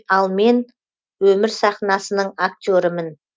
ал мен өмір сахнасының актерімін